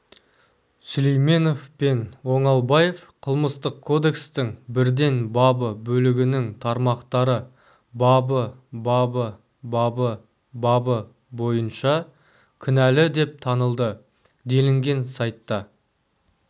сүлейменов пен оңалбаев қылмыстық кодекстің бірден бабы бөлігінің тармақтары бабы бабы бабы бабы бойынша кінәлі деп танылды делінген сайтта